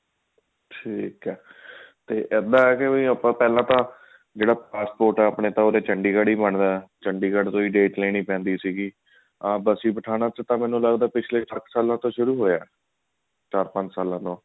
ਠੀਕ ਹੈ ਇੱਦਾਂ ਹੈ ਕੀ ਆਪਾਂ ਪਹਿਲਾਂ ਤਾਂ ਜਿਹੜਾ passport ਹੈ ਆਪਣੇ ਤਾਂ ਚੰਡੀਗੜ ਹੀ ਬਣਦਾ ਚੰਡੀਗੜ ਤੋਂ ਹੀ date ਲੈਣੀ ਪੈਂਦੀ ਦੀ ਸੀ ਬਸੀ ਪਠਾਣਾ ਤੋਂ ਮੈਨੂੰ ਲੱਗਦਾ ਪਿੱਚਲੇ ਸੱਤ ਸਾਲਾਂ ਤੋਂ ਸ਼ੁਰੂ ਹੋਇਆ ਚਾਰ ਪੰਜ ਸਾਲਾਂ ਤੋਂ